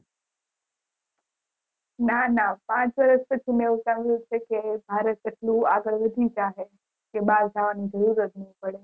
ના ના પાંચ વર્ષ પછી મેં વિચાર્યું છે કે ભારત એટલું આગળ વધી જાહે કે બાર જવાની જરૂર જ ન પડે